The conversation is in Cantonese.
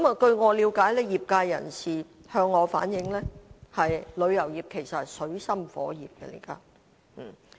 據我了解及業界人士向我反映，旅遊業現時其實是在水深火熱之中。